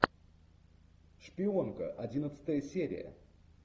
шпионка одиннадцатая серия